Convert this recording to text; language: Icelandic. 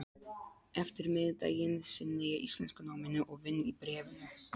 eftirmiðdaginn sinni ég íslenskunáminu og vinn í Bréfinu.